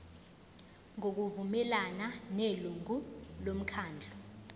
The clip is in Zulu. ngokuvumelana nelungu lomkhandlu